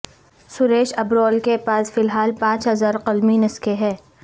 سریش ابرول کے پاس فی الحال پانچ ہزار قلمی نسخے ہیں